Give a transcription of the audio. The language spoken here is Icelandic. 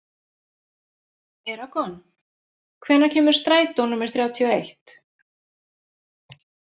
Eragon, hvenær kemur strætó númer þrjátíu og eitt?